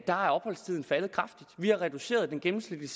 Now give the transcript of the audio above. er opholdstiden faldet kraftigt vi har reduceret den gennemsnitlige